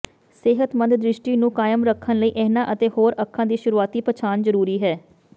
ਸਿਹਤਮੰਦ ਦ੍ਰਿਸ਼ਟੀ ਨੂੰ ਕਾਇਮ ਰੱਖਣ ਲਈ ਇਹਨਾਂ ਅਤੇ ਹੋਰ ਅੱਖਾਂ ਦੀ ਸ਼ੁਰੂਆਤੀ ਪਛਾਣ ਜ਼ਰੂਰੀ ਹੈ